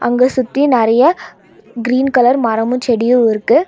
அங்க சுத்தி நெறையா கிரீன் கலர் மரமு செடியு இருக்கு.